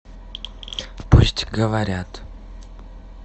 пусть говорят